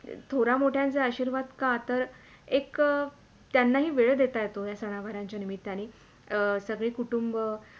थोरा मोठ्यांचे आशीर्वाद का तर एक त्यांनाही वेळ देता येतो या सनावारांच्या निमित्यानी अं सगळे कुटुंब